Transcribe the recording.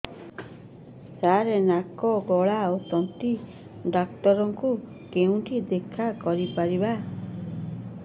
ସାର ନାକ ଗଳା ଓ ତଣ୍ଟି ଡକ୍ଟର ଙ୍କୁ କେଉଁଠି ଦେଖା କରିପାରିବା